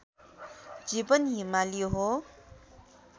जीवन हिमाली हो